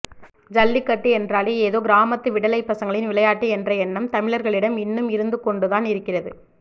ஜல்லிக்கட்டு என்றாலே ஏதோ கிராமத்து விடலைப் பசங்களின் விளையாட்டு என்ற எண்ணம் தமிழர்களிடம் இன்னும் இருந்து கொண்டு தான் இருக்கிறது